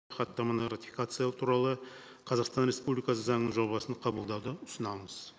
хаттаманы ратификациялау туралы қазақстан республикасы заңының жобасын қабылдауды ұсынамыз